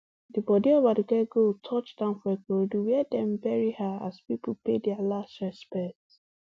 di bodi of aduke gold touch down for ikorodu wia dem bury her as pipo pay dia last respect